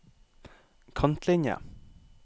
kantlinje